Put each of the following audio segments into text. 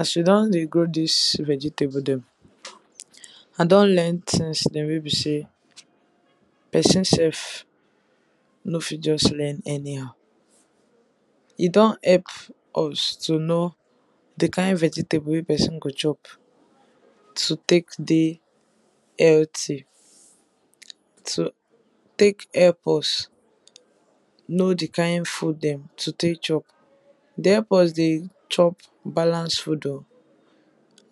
As we don dey grow dis vegetable dem, I don learn things wey be sey person sef no fit just learn anyhow, e don help us to know di kind vegetable wey person go chop to take dey healthy, o take help us know di kind of food dem to take chop, dey help us dey chop balance food oh,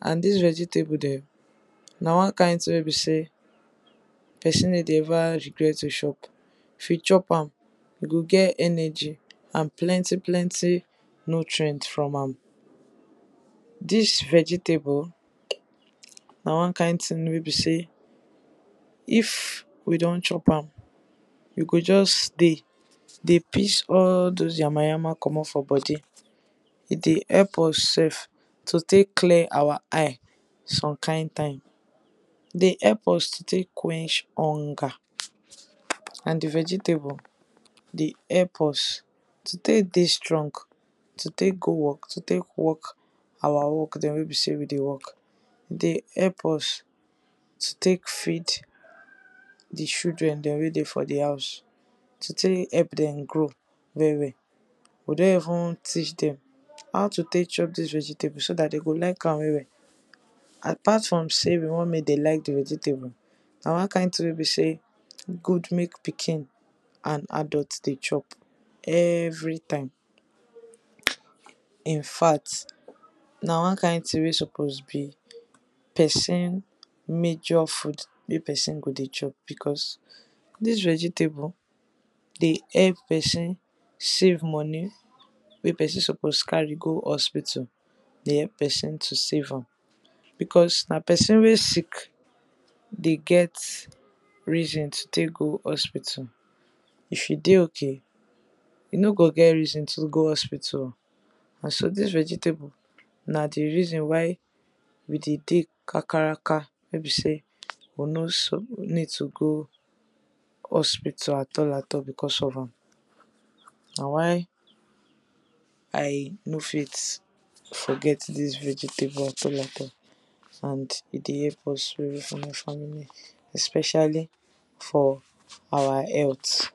and dis vegetable dem na one kind thing wey be sey, person no dey ever regret to chop. If we chop am, we go get energy and plenty plenty nutrient from am. Dis vegetable na one kind thing wey be sey if we don chop am, we go just dey dey piss all doz yama yama komot for body e dey help us sef to take clear our eye some kind time. E dey help us to take quench hunger and di vegetable dey help us to take dey strong, to take go work to take work our work dem wey be sey we dey work. E dey help us to take feed di children dem wey dey for di house to take help dem grow well well, we don even teach dem how to take chop dis vegetable so dat dem go like am well well, apart from sey we want make dem like di vegetable, na one kind thing wey e be sey e good make pikin and adult dey chop every time. In fact na one kind thing wey suppose be person major food wey person suppose dey chop, because dis vegetable dey help person save money wey person suppose dey carry go hospital e dey help person save am. Because na person wey sick dey get reason to take go hospital. If you dey okay, you no go get reason to take go hospital oh. Na so dis vegetable na di reason why we dey dey kakaraka wey be sey we no suppose to go hospital at all at all because of am. Na why I no fit forget dis vegetable at all at all, and e dey help us well well for our family, especially for our health.